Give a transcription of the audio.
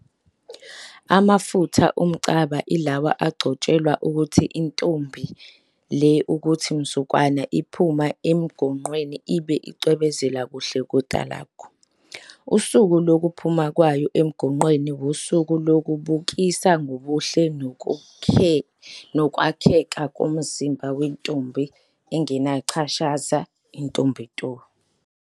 Amafutha omcaba lawa agcotshelwa ukuthi intombi le kuthi mzukwana iphumayo emgonqwenl ibe isicwebezela kuhle kotalagu. Usuku lokuphuma kwayo emgonqweni wusuku lokubukisa ngobuhle nokwakheka komzimba wentombi engenacashaza, intombi nto.